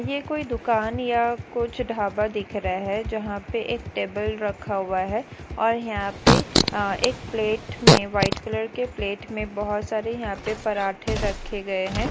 ऐ कोई दुकान या कुछ ढाबा दिख रहे है जहा पे एक टेबल रखा हुआ है और यहाँ पे एक प्लेट मे व्हाइट कलर के प्लेट मे बहुत सारे यहाँ पे पराठे रखे गये है।